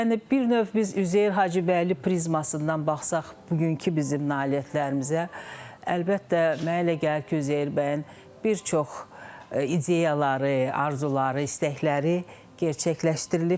Yəni bir növ biz Üzeyir Hacıbəyli prizmasından baxsaq bugünkü bizim nailiyyətlərimizə, əlbəttə, mənə elə gəlir ki, Üzeyir bəyin bir çox ideyaları, arzuları, istəkləri gerçəkləşdirilibdir.